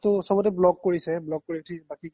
মোকটো চ্'ব্তে block কৰিছে block কৰি উথি বাকি